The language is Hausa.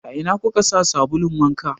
A ina kuka sa sabulun wanka?